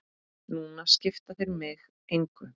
Núna skipta þeir mig engu.